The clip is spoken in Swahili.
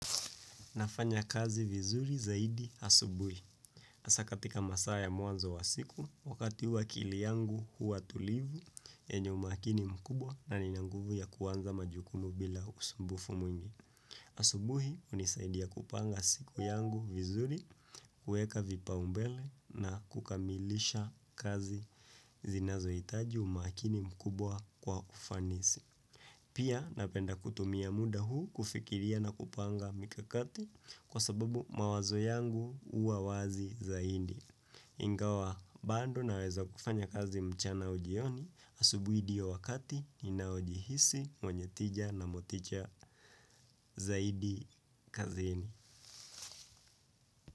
Nafanya kazi vizuri zaidi asubuhi. Hasa katika masaa ya mwanzo wa siku, wakati huu akili yangu huwa tulivu yenye umakini mkubwa na ninanguvu ya kuanza majukumu bila usumbufu mwingi. Asubuhi, hunisaidia kupanga siku yangu vizuri, kueka vipaumbele na kukamilisha kazi zinazo hitaji umakini mkubwa kwa ufanisi. Pia napenda kutumia muda huu kufikiria na kupanga mikakati kwa sababu mawazo yangu hua wazi zaidi. Ingawa bando na weza kufanya kazi mchana au jioni asubuhui ndio wakati ninaojihisi mwenye tija na moticha zaidi kazini.